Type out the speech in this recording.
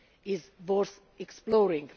is worth exploring.